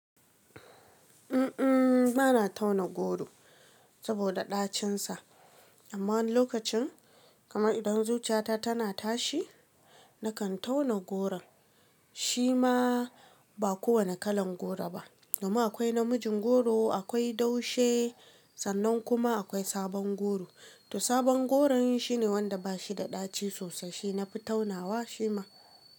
Uhm, bana tauna goro saboda ɗacinsa. Amma wani lokacin kamar idan zuciyata tana tashi, nakan tauna goron. Shi ma ba kowane kalan goro ba. Domin akwai namijin goro, akwai daushe sannan kuma akwai sabon goro. To sabon goron shine wanda bashi da ɗaci sosai, shi nafi taunawa shi ma.